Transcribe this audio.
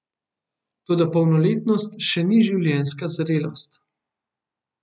Toda polnoletnost še ni življenjska zrelost.